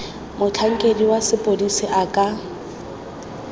motlhankedi wa sepodisi a ka